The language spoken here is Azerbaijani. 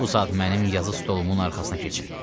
Bu saat mənim yazı stolumun arxasına keçin.